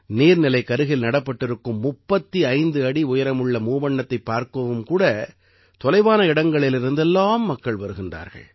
நீர்நிலைக்கருகிலே நடப்பட்டிருக்கும் 35 அடி உயரமுள்ள மூவண்ணத்தைப் பார்க்கவும் கூட தொலைவான இடங்களிலிருந்து எல்லாம் மக்கள் வருகின்றார்கள்